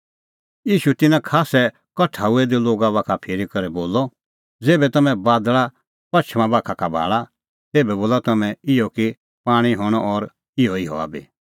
ईशू तिन्नां खास्सै कठा हुऐ दै लोगा बाखा फिरी करै बोलअ ज़ेभै तम्हैं बादल़ पछ़मा बाखा भाल़ा तेभै बोला तम्हैं इहअ कि पाणीं हणअ और इहअ ई हआ बी